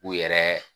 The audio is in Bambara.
U yɛrɛ